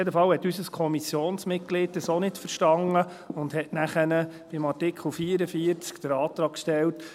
Jedenfalls hat unser Kommissionsmitglied das auch nicht verstanden und hat dann bei Artikel 44 den Antrag gestellt: